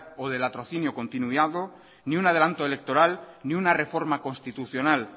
o de latrocinio continuado ni un adelanto electoral ni una reforma constitucional